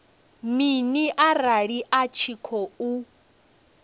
mini arali a tshi khou